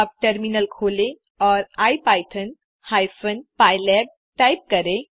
अब टर्मिनल खोलें और इपिथॉन हाइपेन पाइलैब टाइप करें